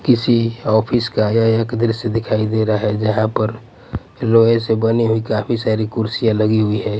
किसी ऑफिस का यह एक दृश्य दिखाई दे रहा है जहां पर लोहे से बनी हुई काफी सारी कुर्सियां लगी हुई है।